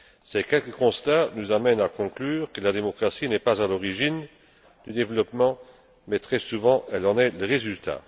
Ces quelques constats nous amènent à conclure que la démocratie n'est pas à l'origine du développement, mais très souvent elle en est le résultat.